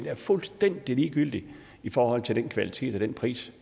er fuldstændig ligegyldigt i forhold til den kvalitet og den pris